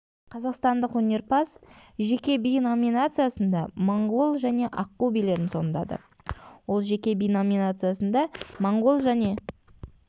қазақстандық өнерпаз жеке би номинациясында моңғол және аққу билерін сомдады ол жеке би номинациясында моңғол және